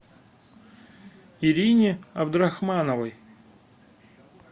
ирине абдрахмановой